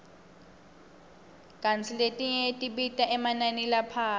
kantsi letinye tibita emanani laphasi